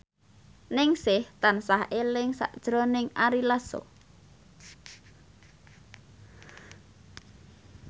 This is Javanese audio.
Ningsih tansah eling sakjroning Ari Lasso